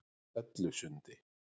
Hellusundi